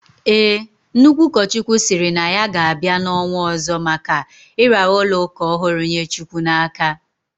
Ee, Nnukwu ukochukwu siri na ya ga bai na onwo ozo maka iraara ulo uka ohuru nye chukwu na aka